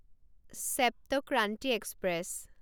Sapt Kranti express